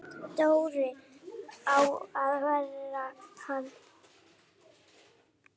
Dóri á að vera hann!